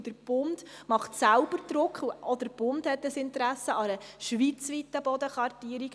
Der Bund macht selbst Druck, er hat selbst Interesse an einer Schweiz weiten Bodenkartierung.